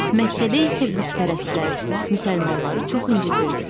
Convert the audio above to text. Məkkədə isə bütpərəstlər müsəlmanları çox incidirdilər.